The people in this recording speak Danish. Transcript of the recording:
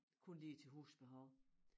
Kun lige til husbehov